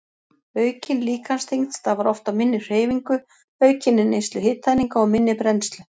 Aukin líkamsþyngd starfar oft af minni hreyfingu, aukinni neyslu hitaeininga og minni brennslu.